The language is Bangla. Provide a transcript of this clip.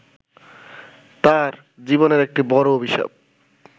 তাঁর জীবনের একটি বড় অভিশাপ